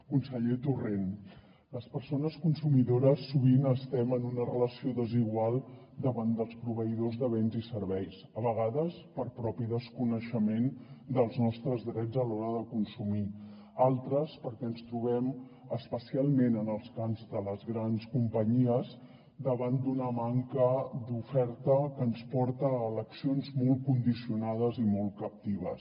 conseller torrent les persones consumidores sovint estem en una relació desigual davant dels proveïdors de béns i serveis a vegades per propi desconeixement dels nostres drets a l’hora de consumir altres perquè ens trobem especialment en els camps de les grans companyies davant d’una manca d’oferta que ens porta a eleccions molt condicionades i molt captives